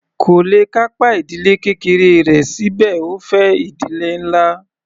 Kò le kápá ìdílé kékeré rẹ̀ síbẹ̀ ó fẹ́ ìdílé ńlá.